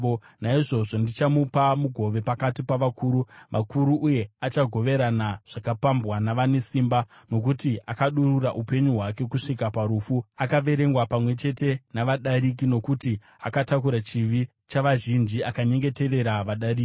Naizvozvo ndichamupa mugove pakati pavakuru vakuru, uye achagoverana zvakapambwa navane simba, nokuti akadurura upenyu hwake kusvika parufu, akaverengwa pamwe chete navadariki. Nokuti akatakura chivi chavazhinji, akanyengeterera vadariki.